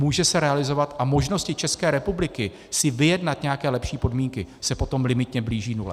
Může se realizovat a možnosti České republiky si vyjednat nějaké lepší podmínky se potom limitně blíží nule.